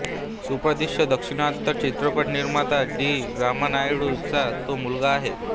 सुप्रसिद्ध दक्षिणात्य चित्रपट निर्माता डी रामानायडू चा तो मुलगा आहे